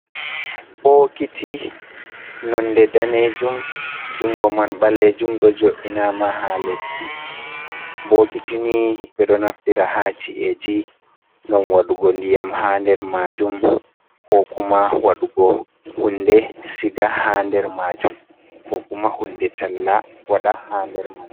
Bokiti nonde danejuum jungo man ɓaleejuum, ɗo jo’ini ma ha leddi, bokiti ni ɓe ɗoo naftira ha ci’eji gam waɗugo ndiyam ha nder majuum, ko kuma waɗugo hunde siga ha der majuum, ko kuma hunde talla wada ha nder man.